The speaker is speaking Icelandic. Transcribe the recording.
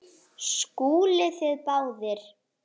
SKÚLI: Þið báðir?